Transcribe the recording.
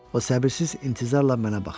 O səbirsiz intizarla mənə baxırdı.